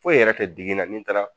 Foyi yɛrɛ tɛ digi na ni n taara